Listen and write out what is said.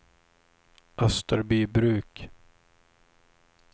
Österbybruk